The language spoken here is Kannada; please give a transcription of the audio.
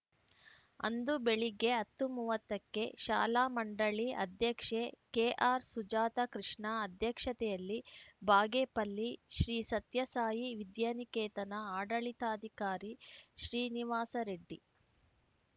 ಅಂದು ಬೆಳಿಗ್ಗೆ ಹತ್ತು ಮೂವತ್ತ ಕ್ಕೆ ಶಾಲಾ ಮಂಡಳಿ ಅಧ್ಯಕ್ಷೆ ಕೆಆರ್‌ಸುಜಾತಕೃಷ್ಣ ಅಧ್ಯಕ್ಷತೆಯಲ್ಲಿ ಬಾಗೆಪಲ್ಲಿ ಶ್ರೀ ಸತ್ಯಸಾಯಿ ವಿದ್ಯಾನಿಕೇತನ ಆಡಳಿತಾಧಿಕಾರಿ ಶ್ರೀನಿವಾಸ ರೆಡ್ಡಿ